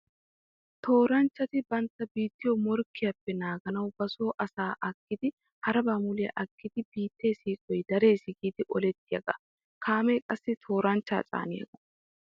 Tooranchchatti bantta biittiyo morkkiyaappe naaganawu ba so asaa agiddi haraba muliya agiddi biitte siiqoy darees giidi olettiyaaga. Kaame qassi tooranchchatta caaniyaaga.